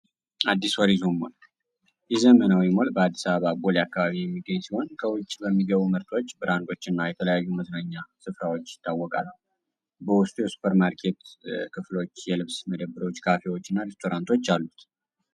የዘመናዊ በአዲስ አበባ ቦሌ አካባቢ የሚገኙ ከውጭ በሚገቡ ምርቶች እና የተለያዩ መዝናኛ ስፍራዎች ይታወቃል supermarket ክፍሎች የልብስ ምደባዎች ካፊናቶች አሉት